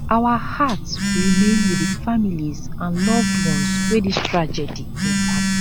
our hearts remain wit di families and loved ones wey dis tragedy impact